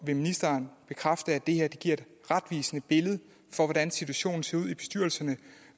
vil ministeren bekræfte at det her giver et retvisende billede af hvordan situationen ser ud i bestyrelserne